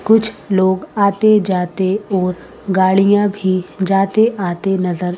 कुछ लोग आते जाते और गाड़ियां भी जाते आते नजर--